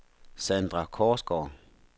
Sandra Korsgaard